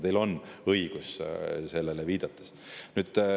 Teil on õigus, kui te sellele viitate.